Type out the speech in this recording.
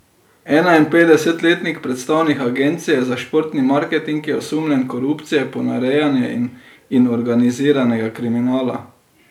Enainpetdesetletnik, predstavnik agencije za športni marketing, je osumljen korupcije, ponarejanja in organiziranega kriminala.